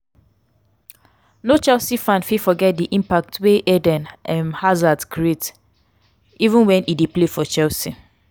no chelsea fan fit forget di impact wey eden um harzard create um when e dey play for chelsea.